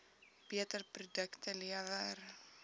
beter produkte lewer